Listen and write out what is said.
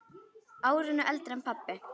Árinu eldri en pabbi.